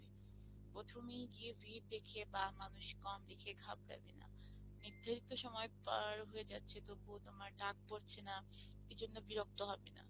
প্রথমেই গিয়ে ভিড় দেখে বা মানুষ কম দেখে ঘাবড়াবে না, নির্ধারিত সময় পার হয়ে যাচ্ছে তবুও তোমার ডাক পড়ছে না এই জন্য বিরক্ত হবে না।